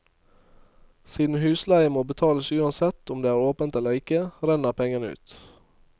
Siden husleie må betales uansett om det er åpent eller ikke, renner pengene ut.